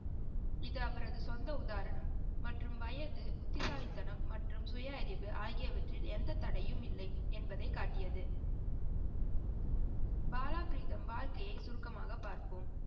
இது அவரது சொந்த உதாரணம் மற்றும் வயது, புத்திசாலிதனம் மற்றும் சுயஅறிவு ஆகியவற்றில் எந்த தடையும் இல்லை என்பதை காட்டியது. பாலப்ரிடம் வாழ்கையை சுருக்கமாக பாப்போம்.